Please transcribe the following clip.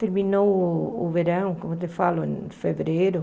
Terminou o o verão, como eu te falo, em fevereiro.